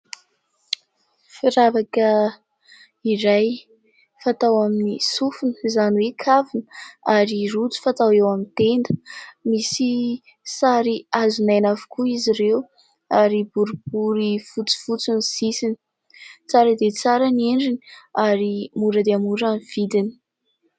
Firavaka iray fatao amin'ny sofina, izany hoe kavina ary rojo fatao eo amin'ny tenda misy sary hazonaina avokoa izy ireo ary boribory fotsifotsy ny sisiny, tsara dia tsara ny endriny ary mora dia mora ny vidiny.